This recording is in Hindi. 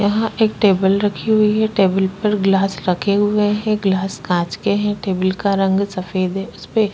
यहाँ एक टेबल रखी हुई है टेबल पर गिलास रखे हुए है गिलास काँच के है टेबल का रंग सफेद है उस पे --